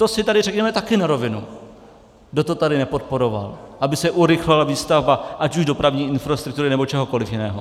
To si tady řekneme také na rovinu, kdo to tady nepodporoval, aby se urychlila výstavba ať už dopravní infrastruktury, nebo čehokoliv jiného.